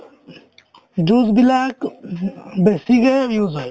juice বিলাক বেছিকে use হয়